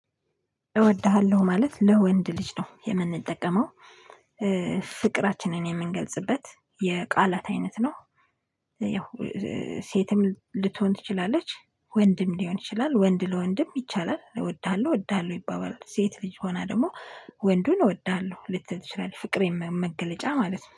እወድሃለሁ ማለት ለወንድ ልጅ ነው የምንጠቀመው ፍቅራችንን የምንገልጽበት የቃላት አይነት ነው። ያው ሴትም ልትሆን ትችላለች ወንድም ሊሆን ይችላል ወንድ ለወንድም ይቻላል። እወድሃለሁ እወድሃለሁ ይባባል ሴት ልጅ ሆና ደግሞ ወንዱን እወድሃለሁ ልትል ትችላለች ፍቅሬን መገለጫ ማለት ነው